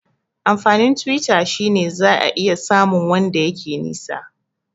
Amfanin Twitter shine zaka iya samu wanda yake nisa